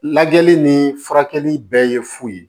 Lajɛli ni furakɛli bɛɛ ye fu ye